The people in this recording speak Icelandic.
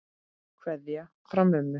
Kveðja frá mömmu.